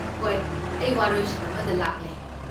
ꯍꯣꯏ, ꯑꯩ ꯋꯥꯔꯣꯏꯁꯤꯟ ꯑꯃꯗ ꯂꯥꯛꯂꯦ꯫